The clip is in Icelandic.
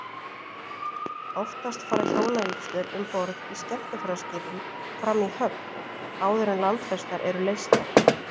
Oftast fara hjónavígslur um borð í skemmtiferðaskipum fram í höfn, áður en landfestar eru leystar.